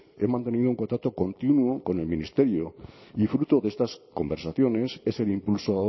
he mantenido un contacto continuo con el ministerio y fruto de estas conversaciones es el impulso